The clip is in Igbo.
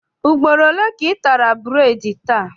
Ugboro ole ka ị tara bureedi taa?